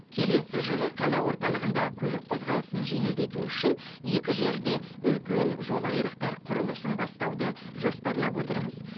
келесі жылы қала орталығында көлік қозғалысын жеңілдету үшін екі жерде үлкен жол айрықтар құрылысын бастауды жоспарлап отырмыз